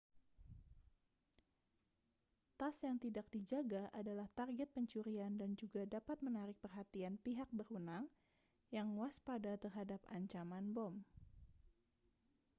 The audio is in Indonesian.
tas yang tidak dijaga adalah target pencurian dan juga dapat menarik perhatian pihak berwenang yang waspada terhadap ancaman bom